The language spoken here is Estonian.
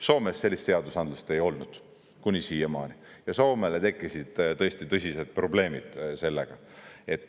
Soomes sellist seadusandlust ei olnud kuni siiamaani ja Soomele tekkisid tõesti tõsised probleemid sellega.